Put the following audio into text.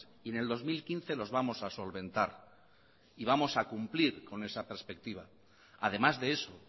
y en el dos mil quince los vamos a solventar y vamos a cumplir con esa perspectiva además de eso